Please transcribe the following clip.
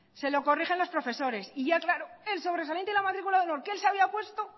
se lo corrigen los profesores y ya claro el sobresaliente y la matrícula de honor que el se había puesto